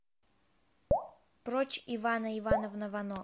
прочь ивана ивановна вано